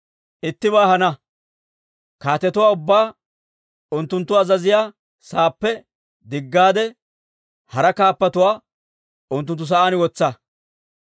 Ittibaa hana; kaatetuwaa ubbaa unttunttu azaziyaa saappe diggaade, hara kaappatuwaa unttunttu sa'aan wotsa.